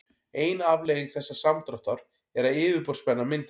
ein afleiðing þessa samdráttar er að yfirborðsspenna myndast